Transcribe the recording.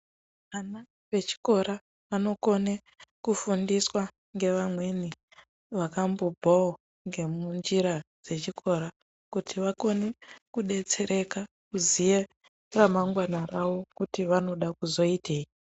Ana vechikora anokone kufundiswa ngevamweni vakambobvawo ngemunjira dzechikora kuti vakone kudetsereka kuziya ramangwana rawo kuti vanoda kuzoitei.